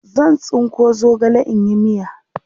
zan. tsinko zogale in yi miya